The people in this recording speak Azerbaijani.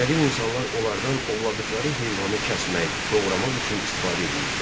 Qədim insanlar onlardan ovladıqları heyvanı kəsmək, doğramaq üçün istifadə edirdilər.